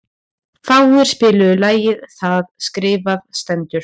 Frár, spilaðu lagið „Það skrifað stendur“.